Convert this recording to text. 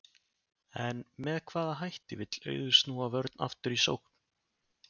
En með hvaða hætti vill Auður snúa vörn aftur í sókn?